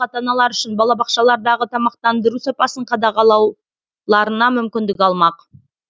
ата аналар үшін балабақшалардағы тамақтандыру сапасын қадағалау мүмкіндік алмақ